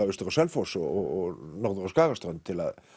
austur á Selfoss og norður á Skagaströnd til að